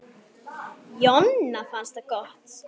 Jonna fannst það gott.